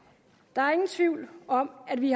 der er ingen tvivl om at vi